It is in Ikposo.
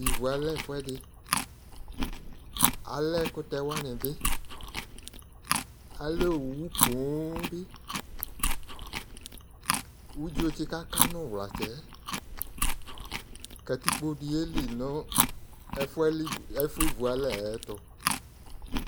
ivu alɛ ɛfu ɛdi alɛ ɛkutɛ wani bi alɛ owu poŋ bi udzo tsi ka ka no uwlatsɛ yɛ katikpo di ye li no ɛfu yɛ alivu ɛfu ivu alɛ yi ayi ɛto